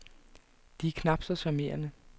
De er knap så charmerende.